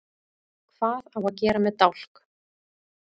Hvað á að gera með dálk?